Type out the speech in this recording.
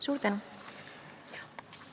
Suur tänu!